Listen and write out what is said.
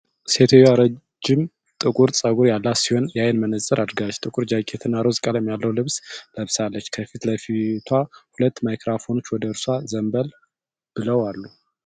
ሴትየዋ ረጅም ጥቁር ፀጉር ያላት ሲሆን፣ የዓይን መነፅር አድርጋለች። ጥቁር ጃኬት እና ሮዝ ቀለም ያለው ልብስ ለብሳለች። ከፊት ለፊቷ ሁለት ማይክሮፎኖች ወደ እርሷ ዘንበል ብለው አሉ።